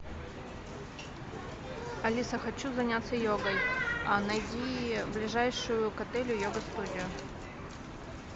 алиса хочу заняться йогой найди ближайшую к отелю йога студию